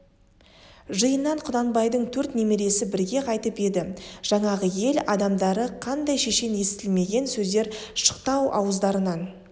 жиыннан құнанбайдың төрт немересі бірге қайтып еді жаңағы ел адамдары қандай шешен естілмеген сөздер шықты-ау ауыздарынан